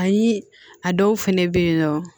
Ani a dɔw fɛnɛ bɛ yen nɔ